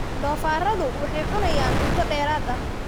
Doofaarradu waxay cunayaan cunto dheeraad ah.